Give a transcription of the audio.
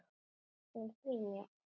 Við fögnum því mjög.